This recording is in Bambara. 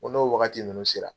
Ko n'o wagati ninnu sera.